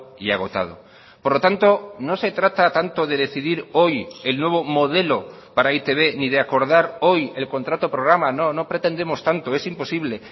y agotado por lo tanto no se trata tanto de decidir hoy el nuevo modelo para e i te be ni de acordar hoy el contrato programa no no pretendemos tanto es imposible